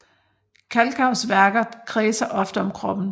Kalkaus værker kredser ofte om kroppen